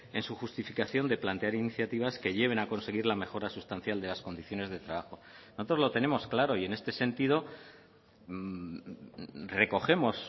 en su justificación de plantear iniciativas que lleven a conseguir la mejora sustancial de las condiciones de trabajo nosotros lo tenemos claro y en este sentido recogemos